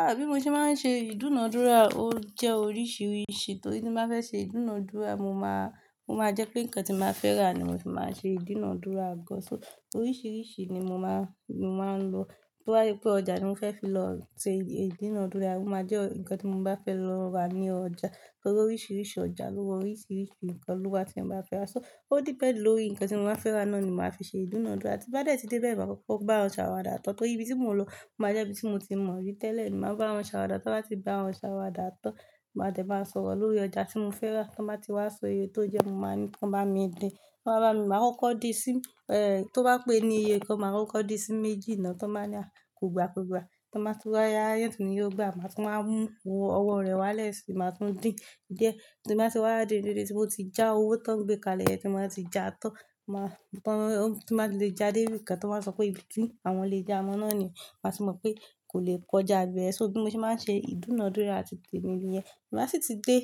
Ah bí mo ṣe máa ń ṣe ìdúnadúrà ó jẹ́ oríṣiríṣi torí tí mo bá fẹ́ ṣe ìdúnadúrà mo máa, o máa jẹ́ pé nǹkan tí mo ba fẹ́ rà ni mo fi máa ṣe ìdúnadúrà gán. So oríṣiríṣi ni mo máa, mo máa ń lo. To ba je pé ọjà tí mo fẹ́ fi lọ ṣe ìdúnadúrà, ó máa jẹ́ nkan tí mo bá fẹ́ lọ rà ní ọjà. Torí oríṣiríṣi ọjà lówa oríṣiríṣi nǹkan lówa tí ẹ bá fẹ́ rà. So ó depend lórí nǹkan tí mo máa fẹ́ rà náà ni màá fi ṣe ìdúnadúrà tí ń bá dẹ̀ tí dé bẹ́ẹ̀ máa kọ́kọ́ bá wọn ṣàwàdà tán torí ibi tí mo lọ o máa jẹ́ ibi tí mo ti mọ̀ rí tẹ́lẹ̀. Mo máa ń bá wọn ṣàwàdà ti n bá ti bá wọn ṣàwàdà tán, máa dẹ̀ máa sọ̀rọ̀ lórí ọjà tí mo fẹ́ rà tí wọ́n bá ti wá sọ iye tó jẹ́ mo máa ní kí wọ́n bá mi dín, wọ́n máa bá mi, màá kó din sí, eh, tó bá pé ní iye kan màá kó di sí méjì náà ti wọn ba ni à kò gba kò gba. Tí o ba tún wa ya yóò tún ni ò gbà, màá tún máa mú owó rẹ̀ wálẹ̀ sì máa tún dín. Diẹ tí mo bá ti wá dé íbi tí mo ti já owó tán gbé kalẹ̀ ti wọ́n ba ti já tán. Mọ́ àwọn tí màá lè já dé ibi kan tó máa sọ pé ìbí ti àwọn lè já mo náà nìyẹn màá sì mọ̀ pé kò lè kọjá bẹ́ẹ̀. So bí mo ṣe máa ń ṣe ìdúnadúrà titemi nìyẹn. Máa sì ti dé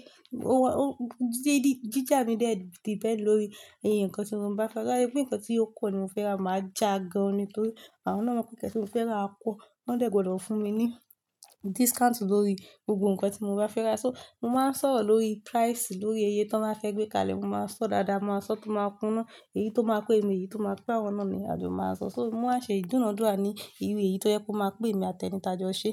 ọwọ́ o jíjà mi dé depend lórí iye nǹkan tí mo bá fẹ́ rà. To ba se pé nǹkan tí ó pọ́ ni mo fẹ́ rà màá já gan-an ni torí àwọn náà mọ̀ pé nǹkan tí mo fẹ́ rà kọ́. Wọ́n dẹ̀ gbọ́dọ̀ fún mi ní discount lórí gbogbo nǹkan tí mo bá fẹ́ rà. So mo máa ń sọ̀rọ̀ lórí price lórí iye tí wọ́n máa fẹ́ gbé kalẹ̀, mo máa ń sọ dáadáa, mo máa ń sọ tó máa kúná èyí tó máa pé mi niyi, èyí tó máa pé àwọn náà ni a jo máa ń sọ. So mo máa ń ṣe ìdúnadúrà ní irú èyí tó yẹ kó máa pè mí àti ẹni taa jo ṣe.